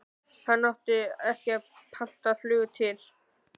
Hann átti ekki pantað flug til